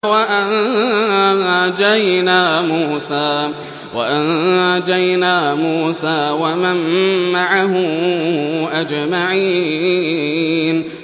وَأَنجَيْنَا مُوسَىٰ وَمَن مَّعَهُ أَجْمَعِينَ